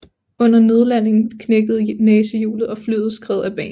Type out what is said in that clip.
Under nødlandingen knækkede næsehjulet og flyet skred af banen